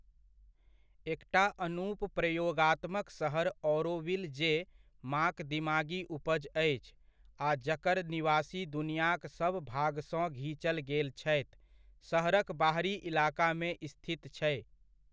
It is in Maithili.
एकटा अनूप प्रयोगात्मक सहर औरोविल जे माँक दिमागी उपज अछि आ जकर निवासी दुनियाक सब भाग सँ घीचल गेल छथि, सहरक बाहरी इलाकामे स्थित छै।